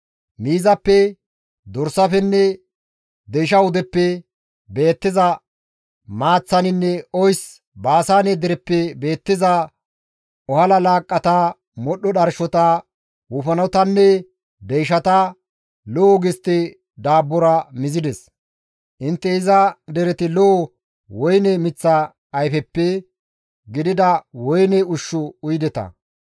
Miizappe dorsafenne deysha wudeppe beettiza maaththaninne oys Baasaane dereppe beettiza ohala laaqqata, modhdho dharshota, wofanotanne deyshata, lo7o gistte daabbora istta mizides. Intte iza dereti zo7o woyne miththa ayfeppe, giigida woyne ushshu uyideta.